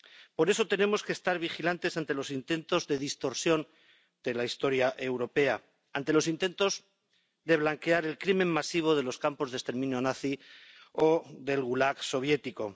Por eso tenemos que estar vigilantes ante los intentos de distorsión de la historia europea. Ante los intentos de blanquear el crimen masivo de los campos de exterminio nazi o del Gulag soviético.